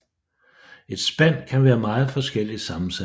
Et spand kan være meget forskelligt sammensat